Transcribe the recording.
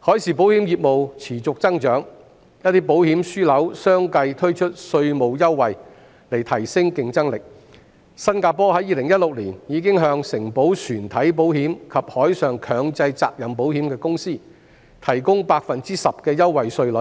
海上保險業務持續增長，一些保險樞紐相繼推出稅務優惠，以提升競爭力，新加坡在2016年已經向承保船體保險及海上強制責任保險的公司提供 10% 的優惠稅率，